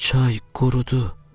Çay qurudu.